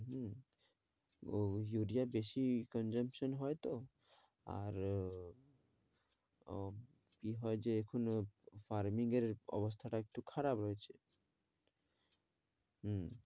হম ও ইউরিয়ার বেশি consumption হয়তো আর কি হয় যে এখনো farming এর অবস্থা টা একটু খারাপ রয়েছে হম